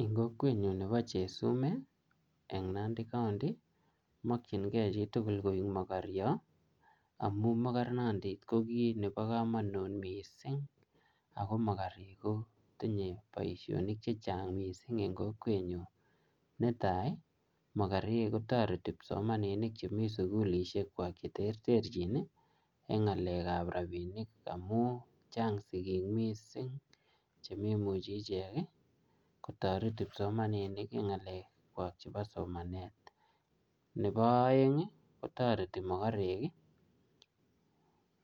Eng' kokwenyu nebo chesumei eng' Nandi county komakchingei chitugul koek mokoryo amu mokornondit ko kiit nebo komonut mising ako mokorek kotinyei boishonik chechang' mising eng' kokwenyu netai mokorek kotoreti kipsomaninik chemi sukulishekwak cheterterchin eng' ng'alekab rapinik amu chang' chekemi eng' chemeimuchi ichek kotoret kipsomaninik eng' ng'alekwak chebo somanet nebo oeng' kotoreti mokorek